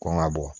Kɔn ga bɔ